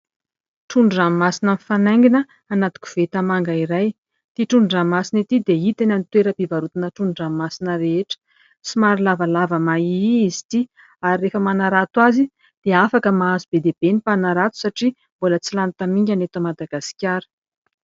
Trondron-dranomasina mifanaingina anaty koveta manga iray. Ity trondron-dranomasina ity dia hita eny amin'ny toeram-pivarotana trondron-dranomasina rehetra somary lavalava mahiahy izy ity. Rehefa manarato azy dia afaka mahazo be dia be ny mpanarato satria mbola tsy lany tamingana eto Madagaskara.